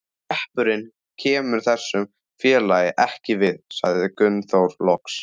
Hreppurinn kemur þessu félagi ekkert við, sagði Gunnþór loks.